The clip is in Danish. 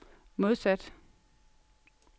modsat